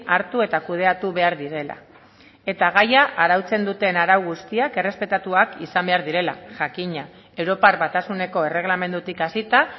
hartu eta kudeatu behar direla eta gaia arautzen duten arau guztiak errespetatuak izan behar direla jakina europar batasuneko erreglamendutik hasita